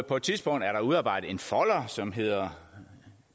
på et tidspunkt er der udarbejdet en folder som hedder